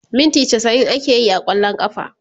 minti chasa'in akeyi a kwallon kafa